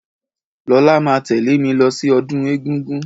Lọlá máa tẹ̀lẹ́ mí lọ sí ọdún egúngún.